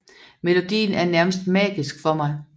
Melodien er nærmest magisk for mig